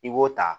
I b'o ta